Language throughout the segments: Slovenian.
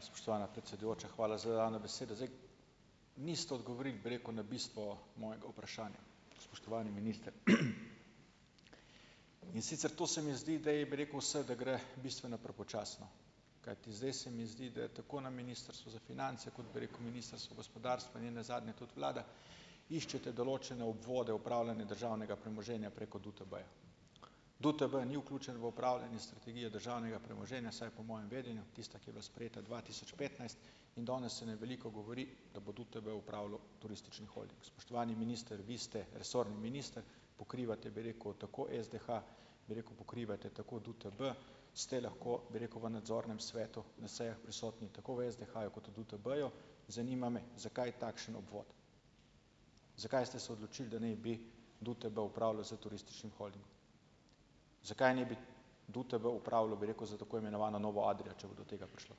Spoštovana predsedujoča, hvala za dano besedo. Zdaj. Niste odgovorili, bi rekel, na bistvo mojega vprašanja, spoštovani minister. In sicer to se mi zdi, da je bi rekel vse, da gre bistveno prepočasno, kajti zdaj se mi zdi, da je tako na Ministrstvu za finance, kot bi rekel, Ministrstvo gospodarstvo, in ne nazadnje tudi vlada, iščete določene obvode upravljanja državnega premoženja preko DUTB-ja. DUTB ni vključen v upravljanje strategije državnega premoženja, vsaj po mojem vedenju, tista, ki je bila sprejeta dva tisoč petnajst in danes se na veliko govori, da bo DUTB upravljal turistični holding. Spoštovani minister! Vi ste resorni minister, pokrivate bi rekel tako SDH, bi rekel, pokrivate tako DUTB, ste lahko, bi rekel, v nadzornem svetu na sejah prisotni tako v SDH-ju kot v DUTB-ju. Zanima me, zakaj takšen obvod. Zakaj ste se odločili, da naj bi DUTB upravljal s turističnim holdingom? Zakaj ne bi DUTB upravljal, bi rekel, s tako imenovano novo Adrio, če bo do tega prišlo?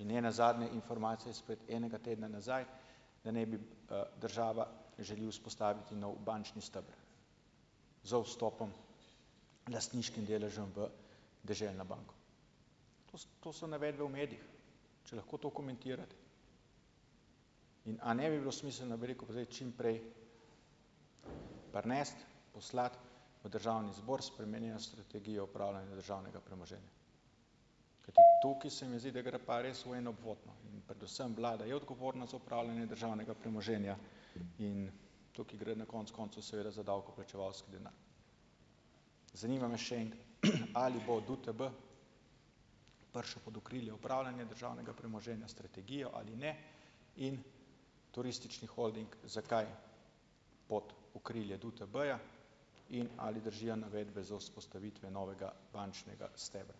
In ne nazadnje, informacija izpred enega tedna nazaj, da naj bi, država želi vzpostaviti nov bančni steber z vstopom, lastniškim deležem v Deželno banko. To so, to so navedbe v medijih. Če lahko to komentirate. In a ne bi bilo smiselno, bi rekel, pa zdaj čim prej prinesti, poslati v državni zbor spremenjeno strategijo upravljanja državnega premoženja, kajti tukaj se mi zdi, da gre pa res v en obvod, no, in predvsem vlada je odgovorna za opravljanje državnega premoženja in tukaj gre na konec koncev seveda za davkoplačevalski denar. Zanima me še enkrat. Ali bo DUTB prišel pod okrilje upravljanja državnega premoženja, strategijo ali ne in turistični holding, zakaj pod okrilje DUTB-ja in ali držijo navedbe za vzpostavitve novega bančnega stebra?